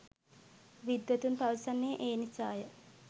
විද්වතුන් පවසන්නේ ඒ නිසාය.